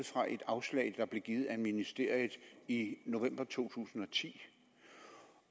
fra et afslag der blev givet af ministeriet i november to tusind og ti